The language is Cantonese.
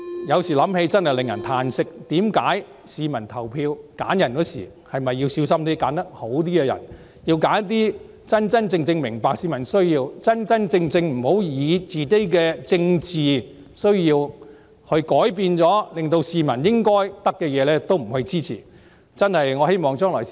有時想想真令我感到歎息，市民投票時是否要小心選擇較好的人選，選擇真正明白市民需要的人，而不要因為政治需要，令市民得不到應得的東西。